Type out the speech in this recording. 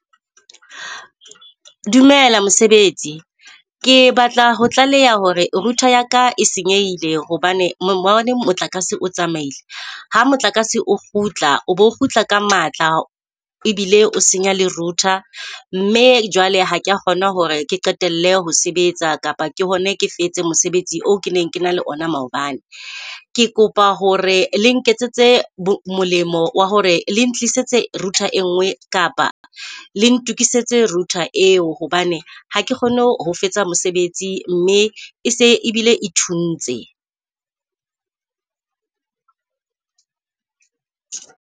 Dumela mosebetsi. Ke batla ho tlaleha hore router ya ka e senyehile hobane maobane motlakase o tsamaile. Ha motlakase o kgutla, o bo o kgutla ka matla ebile o senya le router. Mme jwale ha kea kgona hore ke qetelle ho sebetsa kapa ke bone ke fetse mosebetsi oo ke neng ke na le ona maobane. Ke kopa hore le nketsetse molemo wa hore le ntlisetse router e nngwe kapa le ntokisetse router eo hobane ha ke kgone ho fetsa mosebetsi, mme e se ebile e thuntse.